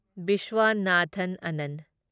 Viswanathan Anand